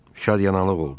Şad yanaqlıq oldu.